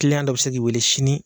dɔ bɛ se k'i wele sini.